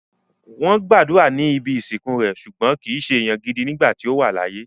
Wọ́n gbàdúrà ní ibi ìsìnkú rẹ̀, ṣùgbọ́n kìí se èèyàn gidi nígbà tí ó wà láyé